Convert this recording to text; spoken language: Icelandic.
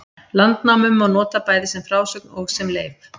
Landnámu má nota bæði sem frásögn og sem leif.